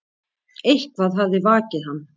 Eitthvað hafði vakið hann.